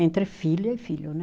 Entre filha e filho, né?